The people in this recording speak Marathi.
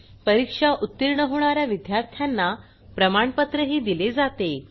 परीक्षा उतीर्ण होणा या विद्यार्थ्यांना प्रमाणपत्रही दिले जाते